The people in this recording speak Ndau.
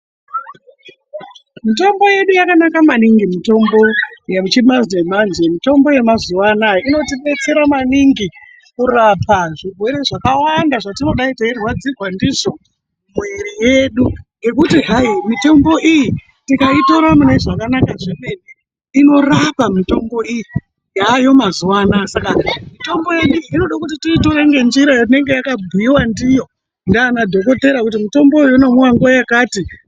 Mitombo yedu yakanaka maningi, mitombo yechimanje-manje, mitombo yamazuvaanaya inotidetsera maningi kurapa zvirwere zvakawanda zvatinodai tichirwadzirwa ndidzo muviri yedu ngekuti hai mitombo iyi tikaitora mune zvakanaka zvemene inorapa mitombo iyi yaayo mazuwaanaa, saka mitombo yedu inoda kuti tiitore ngenjira inenge yakabhuiwa ndiyo ndiana dhokodheya kuti mitomboyo inomwiwa nguwa yakati.